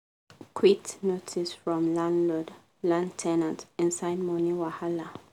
quit notice from landlord land ten ant inside money wahala